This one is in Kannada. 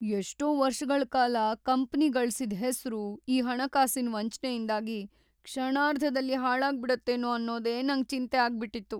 ಎಷ್ಟೋ ವರ್ಷಗಳ್‌ ಕಾಲ ಕಂಪನಿ ಗಳ್ಸಿದ್ ಹೆಸ್ರು ಈ ಹಣಕಾಸಿನ್ ವಂಚ್ನೆಯಿಂದಾಗಿ ಕ್ಷಣಾರ್ಧದಲ್ಲಿ ಹಾಳಾಗ್ಬಿಡುತ್ತೇನೋ ಅನ್ನೋದೇ ನಂಗ್ ಚಿಂತೆ ಆಗ್ಬಿಟ್ಟಿತ್ತು.